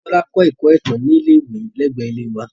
Tola kọ Ẹkọ Itan ni ile-iwe lẹgbẹẹ ile wa